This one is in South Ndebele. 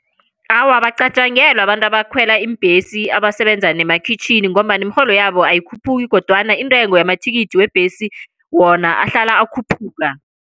Awa, abacatjangelwa abantu abakhwela iimbhesi abasebenza nemakhitjhini, ngombana imirholo yabo ayikhuphuki, kodwana intengo yamathikithi webhesi wona ahlala akhuphuka.